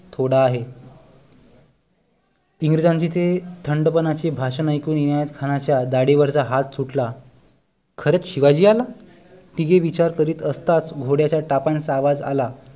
थोडा आहे इंग्रजांचे ते थंड पणाचे भाषण ऐकून इनायत खानाच्या दाढी वरचा हात सुटला खरंच शिवाजी आला तिघे विचार करीत असताच घोड्याच्या टापांचा आवाज आला